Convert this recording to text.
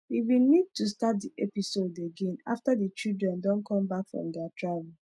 we bin need to start the episode again after the children don come back from their travel